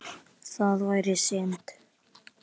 Það væri synd.